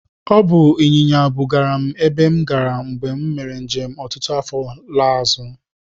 Ọ bụ ịnyịnya bugara m ebe m gara mgbe m mere njem ọtụtụ afọ laa azụ.